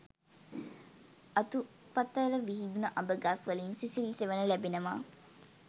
අතුපතර විහිදුන අඹ ගස් වලින් සිසිල් සෙවන ලැබෙනවා